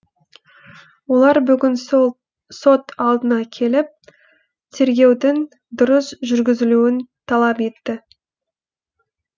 олар бүгін сол сот алдына келіп тергеудің дұрыс жүргізілуін талап етті